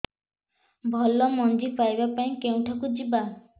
ଭଲ ମଞ୍ଜି ପାଇବା ପାଇଁ କେଉଁଠାକୁ ଯିବା